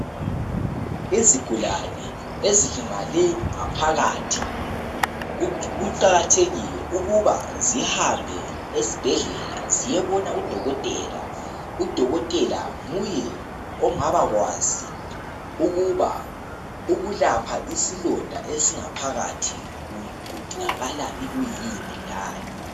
Izigulane ezilamale ngaphakathi, kuqakathekile ukuba zihambe esibhedlela ziyebona udokotela. Udokotela nguye ongabakwazi ukuba ukulapha isilonda esingaphakathi kudingakala ikuyini, lani.